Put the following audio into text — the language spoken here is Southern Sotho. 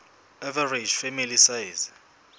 average family size